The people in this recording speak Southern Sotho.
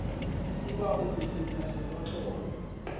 e ba o pepeta senotlolo